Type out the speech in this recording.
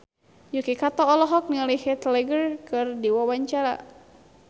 Yuki Kato olohok ningali Heath Ledger keur diwawancara